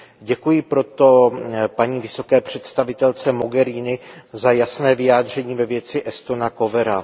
Děkuji proto paní vysoké představitelce Mogheriniové za jasné vyjádření ve věci Estona Kohvera.